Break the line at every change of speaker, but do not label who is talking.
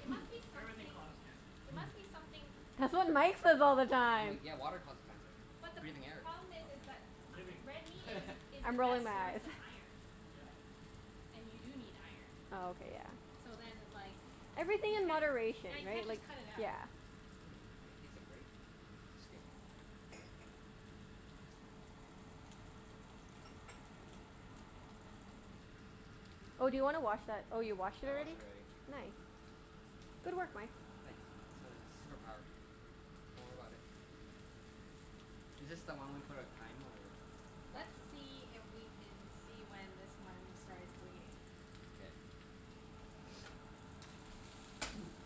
it must be
Everything
something
causes cancer.
it must be something
That's what Mike says all the
I'm
time.
like, yeah, water causes cancer.
But the p-
Breathing air
problem is,
causes
is
cancer.
that
Living.
a- red meat is is the
I'm
best
rolling my
source
eyes.
of iron.
Yeah.
And you do need iron.
Oh, okay. Yeah.
So then, like
Everything
you
in
can't,
moderation,
yeah, you
right?
can't
Like,
just cut it out.
yeah.
Mmm, I can taste the grape skin.
Oh, do you wanna wash that, oh you washed it
I washed
already?
it already.
Nice. Good work, Mike.
Thanks. It's my super power. Don't worry about it. Is this the one we put on thyme, or
Let's
last one?
see if we can see when this one starts bleeding.
K.